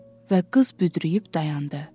Və qız büdrəyib dayandı.